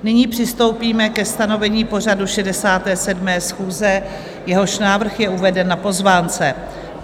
Nyní přistoupíme ke stanovení pořadu 67. schůze, jehož návrh je uveden na pozvánce.